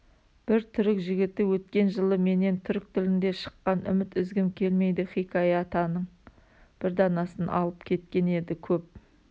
бір түрік жігіті өткен жылы менен түрік тілінде шыққан үміт үзгім келмейді хикаятаның бір данасын алып кеткен еді көп